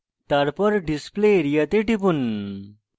তারপর display area then টিপুন